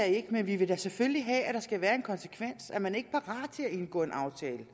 ikke men vi vil da selvfølgelig have at der skal være en konsekvens er man ikke parat til at indgå en aftale